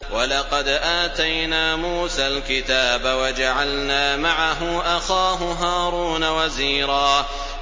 وَلَقَدْ آتَيْنَا مُوسَى الْكِتَابَ وَجَعَلْنَا مَعَهُ أَخَاهُ هَارُونَ وَزِيرًا